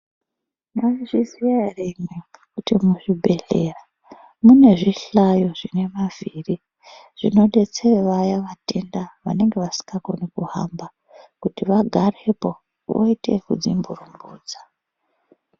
Mwaizviziya ere imwimwi kuti muzvibhedhleya mune zvihlayo zvine mavhiri zvinodetsera vaya vatenda vanenge vasingakoni kuhamba kuti vagarepo voite ekudzimburumbudza.